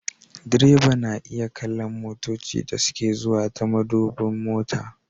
Direba na iya kallon motoci da suke zuwa ta madubin mota